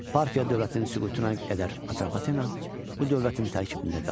Parfiya dövlətinin süqutuna qədər Atropatena bu dövlətin tərkibində qaldı.